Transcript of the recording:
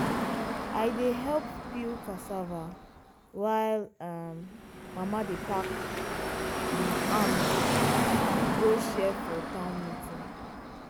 i dey help peel cassava while um mama dey pack um am go share for town meeting.